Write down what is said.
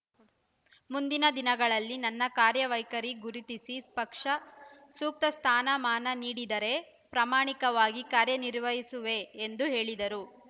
ಮುಂದಿನ ದಿನಗಳಲ್ಲಿ ನನ್ನ ಕಾರ್ಯವೈಖರಿ ಗುರುತಿಸಿ ಪಕ್ಷ ಸೂಕ್ತ ಸ್ಥಾನಮಾನ ನೀಡಿದರೆ ಪ್ರಮಾಣಿಕವಾಗಿ ಕಾರ್ಯನಿರ್ವಹಿಸುವೆ ಎಂದು ಹೇಳಿದರು